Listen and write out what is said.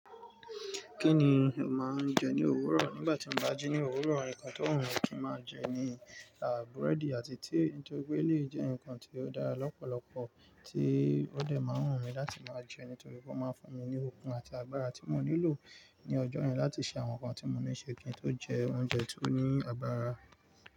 Kí ni o máa ń jẹ ní òwúrọ̀? Nígbà tí mo bá jí ní òwúrọ̀, ǹkan tó wùn kí n máa jẹ ni àbúrẹ́dì àti tíì nítorí pé eléyi jẹ́ ǹkan tí ó dára lọ́pọ̀lọpọ̀ tí ó dẹ̀ máa ń wùn mí láti máa jẹ nítorí pé ó máa ń fún mí ní okun àti agbára tí mò nílò ní ọjọ́ yẹn láti ṣe àwọn nǹkan tí mo níṣe. Kí n tó jẹ oúnjẹ tí ó ní agbára.